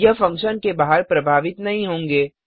यह फंक्शन के बाहर प्रभावित नहीं होंगे